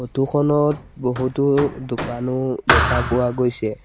Photo খনত বহুতো দোকানো দেখা পোৱা গৈছে।